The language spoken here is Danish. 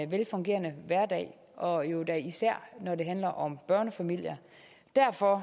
velfungerende hverdag og jo da især når det handler om børnefamilier derfor